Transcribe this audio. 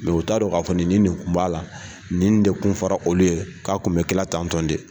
u t'a don k'a fɔ nin ni nin kun b'a la, nin de kun fara olu ye, k'a kun bɛ kɛla tan tɔn de.